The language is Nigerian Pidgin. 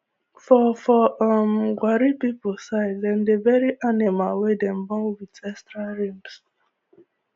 for for um gwari people side dem dey bury animal wey dem born with extra rimbs